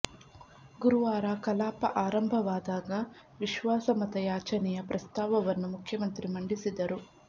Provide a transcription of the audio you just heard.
ಗುರುವಾರ ಕಲಾಪ ಆರಂಭ ವಾದಾಗ ವಿಶ್ವಾಸಮತ ಯಾಚನೆಯ ಪ್ರಸ್ತಾವವನ್ನು ಮುಖ್ಯಮಂತ್ರಿ ಮಂಡಿಸಿದರು